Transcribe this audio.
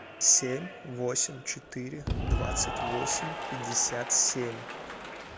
семь восемь четыре двадцать восемь пятьдесят семь